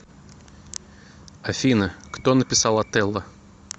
афина кто написал отелло